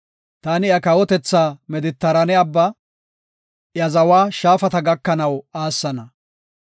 Taani iya kawotethaa Medetiraane Abbaa, iya zawa shaafata gakanaw aassana.